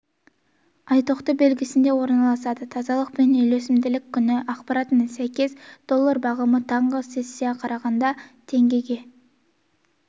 ай тоқты белгісінде орналасады тазалық пен үйлесімділік күні ақпаратына сәйкес доллар бағамы таңғы сессияға қарағанда теңгеге